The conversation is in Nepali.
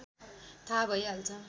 थाहा भइहाल्छ